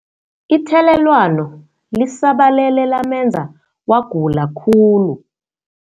Ithelelwano lisabalele lamenza wagula khulu.